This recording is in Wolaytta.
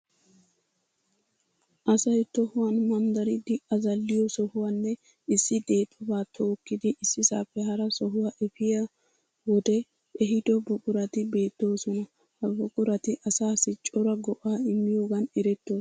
Asay tohuwan manddaridi azalliyo sohuwanne issi deexobaa tokkidi issisaappe hara sohuwa efiya wodee ehiido buqurati beettoosona. Ha buqurati asaassi cora go'aa immiyogan erettoosona.